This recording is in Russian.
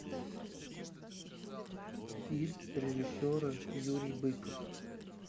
фильм режиссера юрий быков